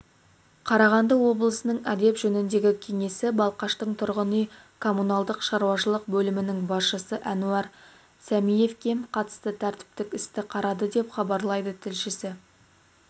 қарағанды облысының әдеп жөніндегі кеңесі балқаштың тұрғын үй-коммуналдық шаруашылық бөлімінің басшысы әнуар сәмиевке қатысты тәртіптік істі қарады деп хабарлайды тілшісі